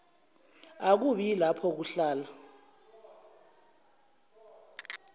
akubi yilapho kuhlala